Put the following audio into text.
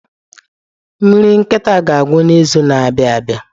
Nri nkịta ga-agwụ n'izu na-abịa abịa.